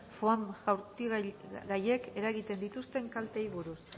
foam jaurtigaiek eragiten dituzten kalteei buruz